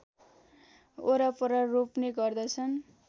वरपर रोप्ने गर्दछन्